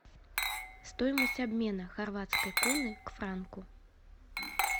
стоимость обмена хорватской куны к франку